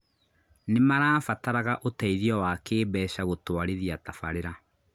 Nĩmarabataraga ũteithio wa kĩmbeca gũtwarithia tafaarĩra